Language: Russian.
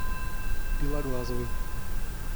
белоглазовой